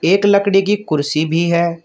एक लकड़ी की कुर्सी भी है।